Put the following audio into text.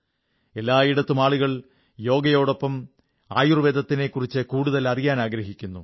എല്ലായിടത്തും ആളുകൾ യോഗയോടൊപ്പം ആയുർവ്വേദത്തിനെക്കുറിച്ച് കൂടുതൽ അറിയാൻ ആഗ്രഹിക്കുന്നു